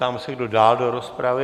Ptám se, kdo dál do rozpravy?